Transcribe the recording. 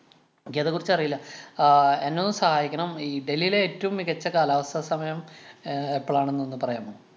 എനിക്കതെ കുറിച്ചറിയില്ല. ആഹ് എന്നെ ഒന്ന് സഹായിക്കണം. ഈ ഡൽഹിയിലെ ഏറ്റവും മികച്ച കാലാവസ്ഥ സമയം അഹ് എപ്പളാണെന്ന് ഒന്ന് പറയാമോ.